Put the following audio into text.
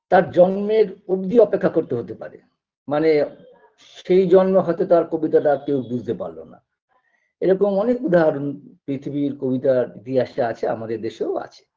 তার জন্মের অব্দি অপেক্ষা করতে হতে পারে মানে সেই জন্মে হয়তো তার কবিতাটা কেউ বুঝতে পারল না এরকম অনেক উদাহরণ পৃথিবীর কবিতার ইতিহাসে আছে আমাদের দেশেও আছে